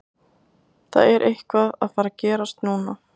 Það er eitthvað að fara að gerast núna.